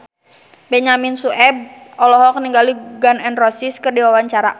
Benyamin Sueb olohok ningali Gun N Roses keur diwawancara